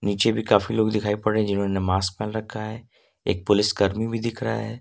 पीछे भी काफी लोग दिखाई पड़ रहे हैं जिन्होंने मास्क पहन रखा है एक पुलिस कर्मी भी दिख रहा है।